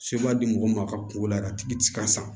di mɔgɔw ma a ka kungo la a tigi ti ka sa